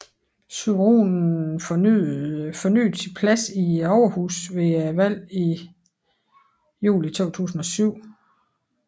Tsurunen fornyede sin plads i Overhuset ved valget i juli 2007